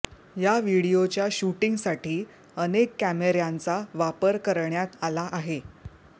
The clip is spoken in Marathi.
या व्हिडिओच्या शूटिंगसाठी अनेक कॅमेऱ्यांचा वापर करण्यात आला आहे